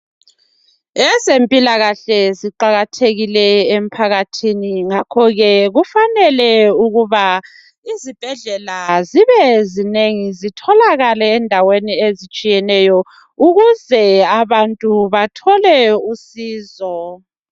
Ezempilakahle ziqakathekile emphakathini ngakho ke kufanele ukuba izibhedlela zibe zinengi zitholakala endaweni ezitshiyeneyo ukuze abantu bathole usizo.